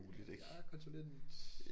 Jeg er konsulent